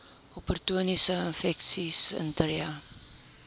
opportunistiese infeksies intree